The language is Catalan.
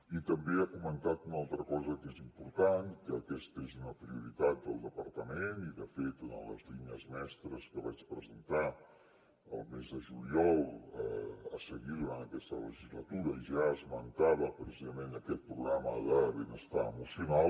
i també ha comentat una altra cosa que és important que aquesta és una prioritat del departament i de fet una de les línies mestres que vaig presentar al mes de juliol a seguir durant aquesta legislatura en què ja esmentava precisament aquest programa de benestar emocional